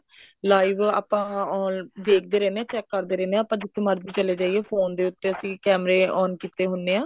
live ਆਪਾਂ ਦੇਖਦੇ ਰਹਿੰਦੇ ਹਾਂ check ਕਰਦੇ ਰਹਿੰਦੇ ਹਾਂ ਜਿੱਥੇ ਮਰਜ਼ੀ ਚਲੇ ਜਾਈਏ phone ਦੇ ਉੱਤੇ ਅਸੀਂ ਕੇਮਰੇ on ਕੀਤੇ ਹੁੰਨੇ ਆ